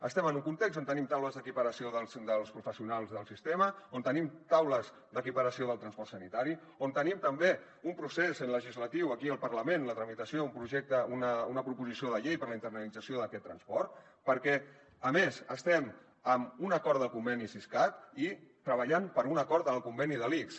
estem en un context on tenim taules d’equiparació dels professionals del sistema on tenim taules d’equiparació del transport sanitari on tenim també un procés legislatiu aquí al parlament la tramitació d’una proposició de llei per a la internalització d’aquest transport perquè a més estem amb un acord del conveni siscat i treballant per un acord en el conveni de l’ics